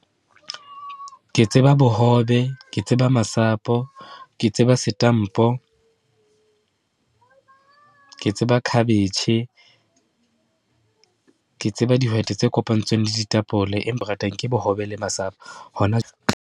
Ke tseba bohobe, ke tseba masapo, ke tseba setampo, ke tseba cabbage, ke tseba dihwete tse kopantsweng le ditapole, ratang ke bohobe le masapo, hona.